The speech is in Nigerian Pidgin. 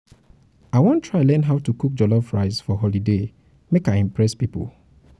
i wan try learn how to cook jollof rice for holiday make i impress pipo.